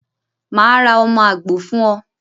Màá ra ọmọ àgbò fún o